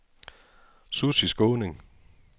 Susie Skaaning